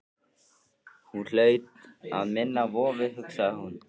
Hún hlaut að minna á vofu, hugsaði hún.